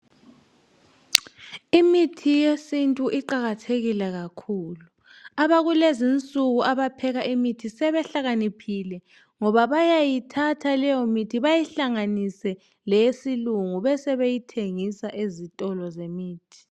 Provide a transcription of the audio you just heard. Imithi yesintu iqakathekile kakhulu abakulezi insuku abapheka imithi sebehlakaniphile ngoba bayayithatha leyomithi beyihlanganise leyesilungu besebeyithengisa ezitolo.